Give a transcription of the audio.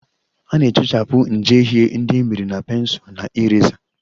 A na-ehichapụ njehie ndị e mere na pensụl na eraser